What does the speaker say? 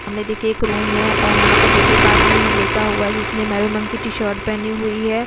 सामने देखिए एक रूम है और यहां पर देखिए एक आदमी है लेटा हुआ है जिसने मेरून रंग की टी-शर्ट पहनी हुई है।